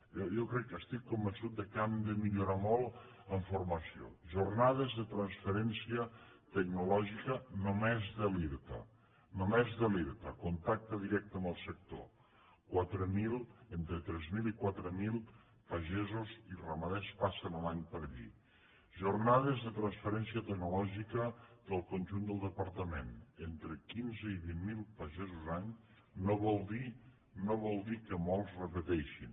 jo crec estic convençut que hem de millorar molt en formació jornades de transferència tecnològica només de l’irta només de l’irta contacte directe amb el sector entre tres mil i quatre mil pagesos i ramaders passen a l’any per allí jornades de transferència tecnològica del conjunt del departament entre quinze i vint mil pagesos any no vol dir que molts repeteixin